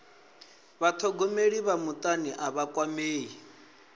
vhathogomeli vha mutani a vha kwamei